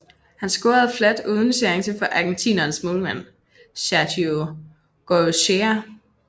Han scorede fladt uden chance for argentinernes målmand Sergio Goycochea